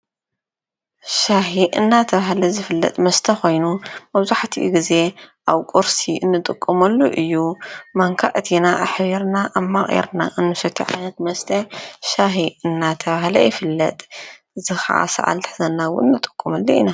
ሻሂ እንዳተባሃለ ዝፍለጥ መስተ ኮይኑ መብዛሕቲኡ ግዜ ኣብ ቁርሲ እንጥቀመሉ እዩ። ማንካ ኣእቲና ኣሕቢርና ኣማቒርና እንሰትየሉ ዓይነት መስተ ሻሂ እንዳተባሀለ ይፍለጥ። እዚ ከዓ ሰዓል እንትሕዘና እውን ንጥቀመሉ ኢና።